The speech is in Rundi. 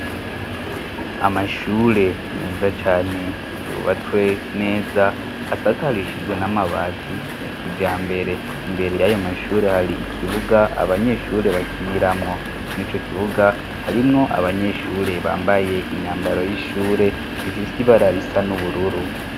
Amashure meza cane yubatswe neza, asakarishijwe n'amabati ya kijambere. Imbere y'ayo mashure hari ikibuga abanyeshure bakiniramwo. Muri ico kibuga harimwo abanyeshure bambaye imyambaro y'ishure ifise ibararisa n'ubururu.